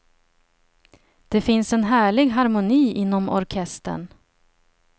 Det finns en härlig harmoni inom orkestern.